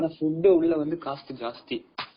ஆனா food உள்ள வந்து cost ஜாஸ்தி.